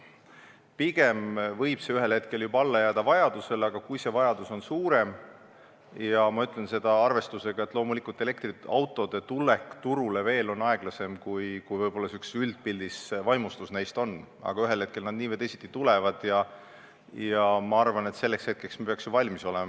Pigem võib see ühel hetkel jääda vajadusele alla, aga kui see vajadus on suurem – ma ütlen seda arvestusega, et elektriautode tulek turule on aeglasem, kui võib-olla üldpildis vaimustus neist on, aga ühel hetkel nad nii või teisiti tulevad –, siis ma arvan, et selleks hetkeks me peaks ju valmis olema.